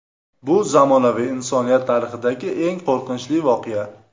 Bu zamonaviy insoniyat tarixidagi eng qo‘rqinchli voqea.